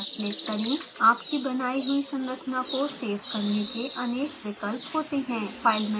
आपकी बनायी हुई संरचना को save करने के अनेक विकल्प होते हैं file menu को खोलें